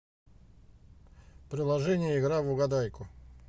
приложение игра в угадайку